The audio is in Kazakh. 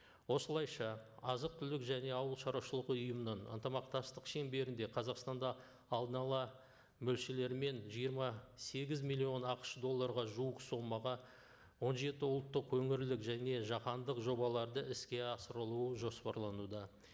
осылайша азық түлік және ауылшаруашылық ұйымның ынтымақтастық шеңберінде қазақстанда алдын ала мөлшерлермен жиырма сегіз миллион ақш долларға жуық сомаға он жеті ұлттық өңірлік және жаһандық жобаларды іске асырылуы жоспарлануда